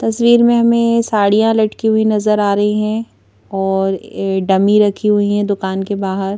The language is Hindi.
तस्वीर में हमें साड़ियां लटकी हुई नजर आ रही हैं और डमी रखी हुई हे दुकान के बाहर --